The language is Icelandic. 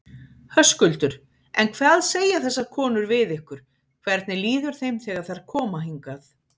Höskuldur: En hvað segja þessar konur við ykkur, hvernig líður þeim þegar þær koma hingað?